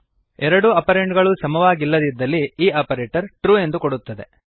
ಎರಡೂ ಆಪರಂಡ್ ಗಳೂ ಸಮವಾಗಿಲ್ಲದಿದ್ದಲ್ಲಿ ಈ ಆಪರೇಟರ್ ಟ್ರು ಎಂದು ಕೊಡುತ್ತದೆ